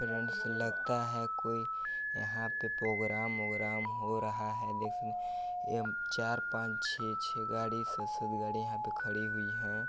Friends लगता है कोई यहाँ पे प्रोग्राम वोग्राम हो रहा हें देखने चार पाच छे छे गाडी स सत गाड़ी यहाँ पे खडी हुई है।